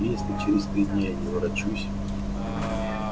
если через три дня я не ворочусь